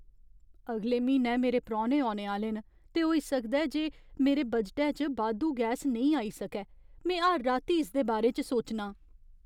अगले म्हीनै मेरै परौह्ने औने आह्‌ले न, ते होई सकदा ऐ जे मेरे बजटै च बाद्धू गैस नेईं आई सकै। में हर राती इसदे बारे च सोचनां।